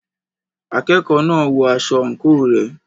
Akẹ́kọ̀ọ́ náà ń wọ aṣọ àǹkóò rẹ̀.